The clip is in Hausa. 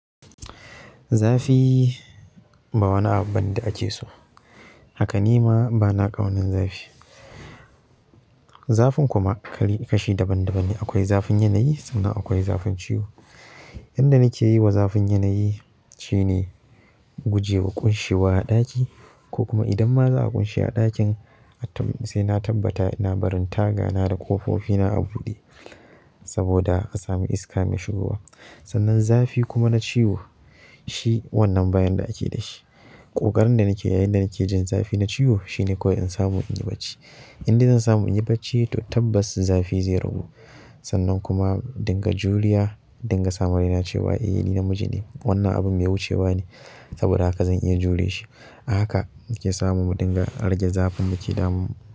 Zafi ba wani abu bane da ake so haka nima bana ƙaunar zafi. Zafin kuma kali kashi daban daban ne. Akwai zafin yanayi sannan akwai zafin ciwo. Inda nake yi wa zafin yanayi shine guje wa ƙunshewa a ɗaki ko kuma idan ma za a ƙunshi a ɗakin, sai na tabbata ina barin taga na da ƙofofi na a buɗe saboda a sami iska mai shigowa. Sannan zafi kuma na ciwo shi wannan ba yan da ake da shi. Ƙoƙarin da nake yi inda nake jin zafi na ciwo shine ko in samu in yi bacci. Inda zan samu in yi bacci, to tabbas zafi zai ragu. Sannan kuma dinga juriya, dinga samaraina cewa eh ni namiji ne. Wannan abu mai wucewa ne. Saboda haka zan iya jure shi. Haka yake samu dinga rage zafin dake damun mu.